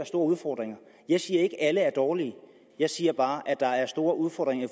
store udfordringer jeg siger ikke at alle er dårlige jeg siger bare at der er store udfordringer i